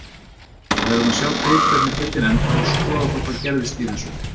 Við verðum að sjá til hvernig deildin endar og skoða þá hvað gerðist í þessu.